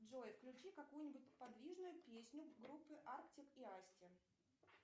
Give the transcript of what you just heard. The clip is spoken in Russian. джой включи какую нибудь подвижную песню группы артик и асти